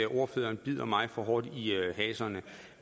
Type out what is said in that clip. ordføreren bider mig for hårdt i haserne